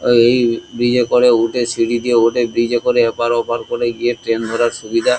এই ব্রিজ এ করে উঠে সিঁড়ি দিয়ে উঠে ব্রিজ এ করে এপার ওপার করে গিয়ে ট্রেন ধরার সুবিধা ।